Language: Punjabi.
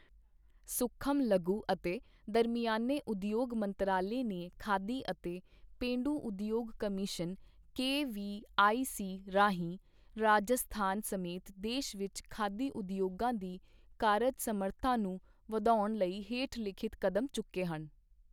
ਸੂਖਮ, ਲਘੂ ਅਤੇ ਦਰਮਿਆਨੇ ਉਦਯੋਗ ਮੰਤਰਾਲੇ ਨੇ ਖਾਦੀ ਅਤੇ ਪੇਂਡੂ ਉਦਯੋਗ ਕਮਿਸ਼ਨ ਕੇਵੀਆਈਸੀ ਰਾਹੀਂ ਰਾਜਸਥਾਨ ਸਮੇਤ ਦੇਸ਼ ਵਿੱਚ ਖਾਦੀ ਉਦਯੋਗਾਂ ਦੀ ਕਾਰਜ ਸਮਰੱਥਾ ਨੂੰ ਵਧਾਉਣ ਲਈ ਹੇਠਲਿਖਤ ਕਦਮ ਚੁੱਕੇ ਹਨ